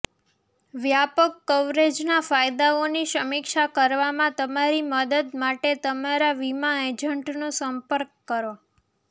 વ્યાપક કવરેજના ફાયદાઓની સમીક્ષા કરવામાં તમારી મદદ માટે તમારા વીમા એજન્ટનો સંપર્ક કરો